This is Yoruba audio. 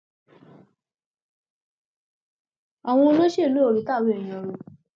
àwọn olóṣèlú ò rí tàwọn èèyàn rò